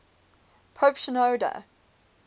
pope shenouda